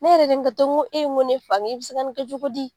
Ne yɛrɛ de ye n kanto ko ne fa e bɛ se ka nin kɛ cogo di